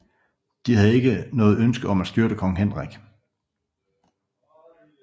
De havde ikke noget ønske om at styrte kong Henrik